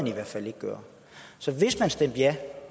i hvert fald ikke gøre så hvis man stemte ja